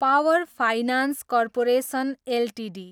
power finance corporation Ltd